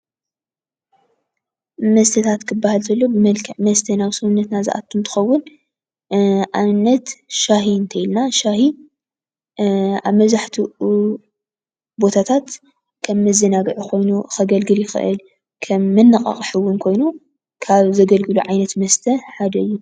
መስተታት ክበሃል እንተሎ ብመልክዕ መስተ ናብ ሰውነትና ዝኣቱ ክኸውን ኣብነት ሻሂ እንተይለና ሻሂ ኣብ መብዛሕቲኡ ቦታታት ከም መዘናግዒ ኮይኑ ከገልግል ይኽእል፡፡ ከም መነቓቕሒ እውን ኮይኑ ካብ ዘገልግሉ ዓይነት መስተ ሓደ እዩ፡፡